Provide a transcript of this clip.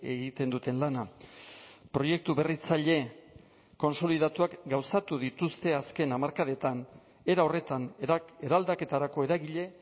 egiten duten lana proiektu berritzaile kontsolidatuak gauzatu dituzte azken hamarkadetan era horretan eraldaketarako eragile